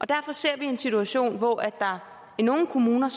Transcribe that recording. derfor ser vi en situation hvor der i nogle kommuner